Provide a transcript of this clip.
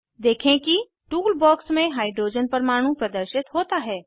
देखें कि tool box में हाइड्रोजन परमाणु प्रदर्शित होता है